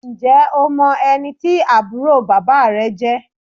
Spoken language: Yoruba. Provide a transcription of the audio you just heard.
Ǹjẹ́ o mọ ẹni tí àbúrò bàbá rẹ jẹ́?